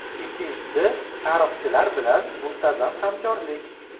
Ikkinchisi tarixchilar bilan muntazam hamkorlik.